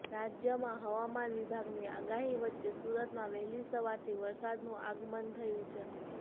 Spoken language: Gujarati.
રાજ્યમાં હવામાન વિભાગની આગાહી વચ્ચે સુરતમાં વહેલી સવારથી વરસાદનું આગમન થયું છે